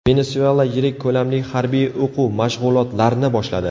Venesuela yirik ko‘lamli harbiy o‘quv mashg‘ulotlarni boshladi.